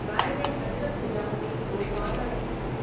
Raigarh Hazrat Nizamuddin Gondwana express